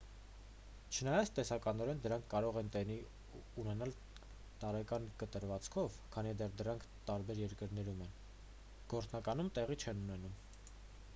չնայած տեսականորեն դրանք կարող են տեղի ունենալ տարեկան կտրվածքով քանի դեռ դրանք տարբեր երկրներում են՝ գործնականում տեղի չեն ունենում։